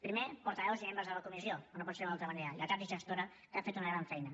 primer portaveus i membres de la comissió com no pot ser d’una altra manera lletrats i gestora que han fet una gran feina